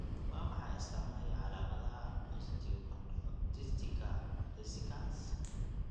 Waa maxay astamaha iyo calaamadaha osteochondritiska discecans?